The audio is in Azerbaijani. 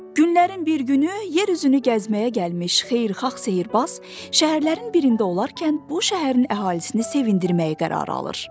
Günlərin bir günü yer üzünü gəzməyə gəlmiş xeyirxah sehrbaz, şəhərlərin birində olarkən bu şəhərin əhalisini sevindirməyə qərar alır.